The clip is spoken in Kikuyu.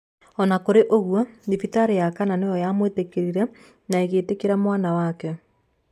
O na kũrĩ ũguo, thibitarĩ ya kana nĩ yo yamwĩtĩkĩrire na ĩgĩtĩkĩra mwana wake.